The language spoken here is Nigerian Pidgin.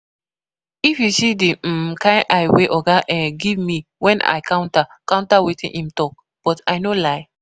If you see the um kyn eye wey oga um give me when I counter counter wetin im talk, but I no lie